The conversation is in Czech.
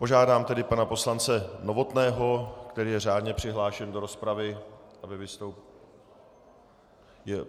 Požádám tedy pana poslance Novotného, který je řádně přihlášen do rozpravy, aby vystoupil.